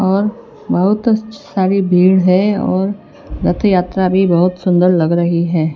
और बहुत सारी भीड़ है और रथयात्रा भी बहुत सुंदर लग रही है।